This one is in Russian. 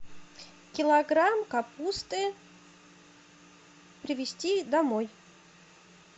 килограмм капусты привезти домой